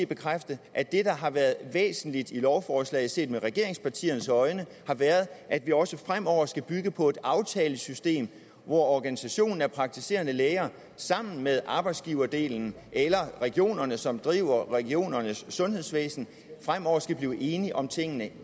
bekræfte at det der har været væsentligt i lovforslaget set med regeringspartiernes øjne har været at vi også fremover skal bygge på et aftalesystem hvor organisationen af praktiserende læger sammen med arbejdsgiverdelen eller regionerne som driver regionernes sundhedsvæsen fremover skal blive enige om tingene